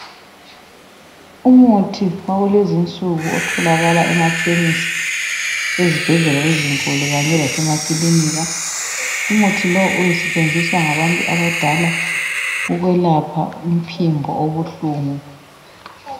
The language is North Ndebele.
Umuthi wakulezinsuku otholakala emakhemisi lezibhedlela ezinkulu kanye lasemakilinika. Umuthi lo usetshenziswa ngabantu abadala ukwelapha umphimbo obuhlungu.